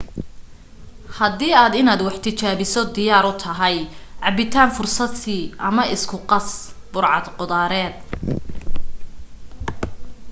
hadii aad inaad wax tijaabiso diyaar u tahay cabbitaan fursad sii ama isku qas burcad qudaareed